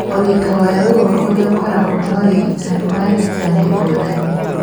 Ũritũ wa ruo rũrĩa rũkoragwo na ũrigitani wa laser nĩ ngũrani.